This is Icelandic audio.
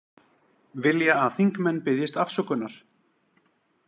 Vilja að þingmenn biðjist afsökunar